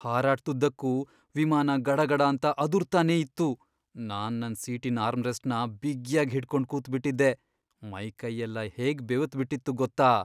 ಹಾರಾಟ್ದುದ್ದಕ್ಕೂ ವಿಮಾನ ಗಡಗಡಾಂತ ಅದುರ್ತಾನೇ ಇತ್ತು, ನಾನ್ ನನ್ ಸೀಟಿನ್ ಆರ್ಮ್ರೆಸ್ಟ್ಸ್ನ ಬಿಗ್ಯಾಗ್ ಹಿಡ್ಕೊಂಡ್ ಕೂತ್ಬಿಟಿದ್ದೆ. ಮೈಕೈಯೆಲ್ಲ ಹೇಗ್ ಬೆವ್ತ್ಬಿಟಿತ್ತು ಗೊತ್ತಾ..